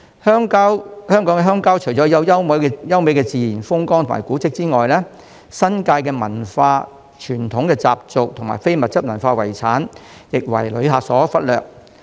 香港的鄉郊除了有優美的自然風光和古蹟外，亦有新界文化、傳統習俗及非物質文化遺產，但這些都為旅客所忽略。